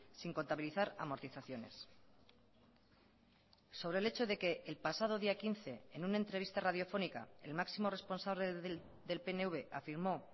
sin contabilizar amortizaciones sobre el hecho de que el pasado día quince en una entrevista radiofónica el máximo responsable del pnv afirmó